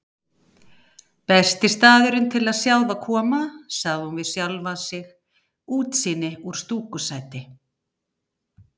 Besti staðurinn til að sjá þá koma, sagði hún við sjálfa sig, útsýni úr stúkusæti.